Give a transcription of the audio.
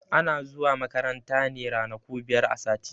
Ana zuwa makaranta ne ranaku biyar a sati.